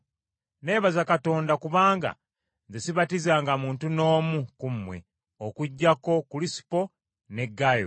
Neebaza Katonda kubanga nze sibatizanga muntu n’omu ku mmwe okuggyako Kulisupo ne Gaayo.